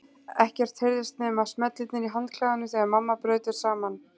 Ekkert heyrðist nema smellirnir í handklæðunum þegar mamma braut þau saman.